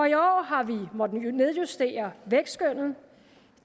i år har vi måttet nedjustere vækstskønnet